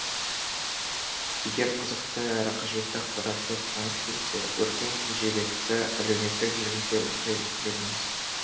егер қызықты әрі қажетті ақпаратты оқығыңыз келсе өркен кенжебекті әлеуметтік желіде оқи жүріңіз